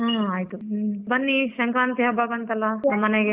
ಹಾ ಆಯ್ತು ಬನ್ನಿ ಸಂಕ್ರಾಂತಿ ಹಬ್ಬ ಬಂತಲ್ಲ ನಮ್ಮನೆಗೆ.